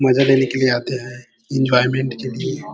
मजा लेने के लिए आते है एन्जॉयमेंट के लिए--